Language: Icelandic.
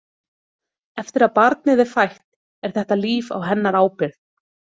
Eftir að barnið er fætt er þetta líf á hennar ábyrgð.